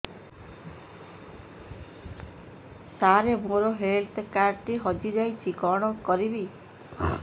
ସାର ମୋର health card ଟି ହଜି ଯାଇଛି କଣ କରିବି